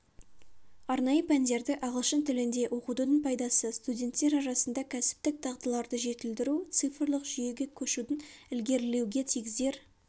арнайы пәндерді ағылшын тілінде оқытудың пайдасы студенттер арасында кәсіптік дағдыларды жетілдіру цифрлық жүйеге көшудің ілгерілеуге тигізер